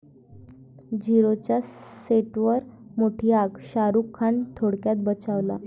झीरो'च्या सेटवर मोठी आग, शाहरूख खान थोडक्यात बचावला